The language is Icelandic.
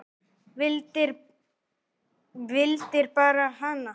Vildir bara hana.